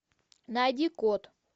найди код